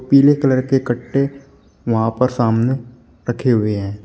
पीले कलर के कट्टे वहां पर सामने रखे हुए हैं।